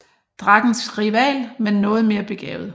Drakkens rival men noget mere begavet